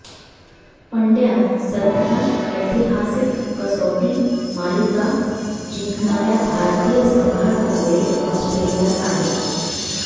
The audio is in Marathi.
पंडय़ा सध्या ऐतिहासिक कसोटी मालिका जिंकणाऱया भारतीय संघासमवेत ऑस्ट्रेलियात आहे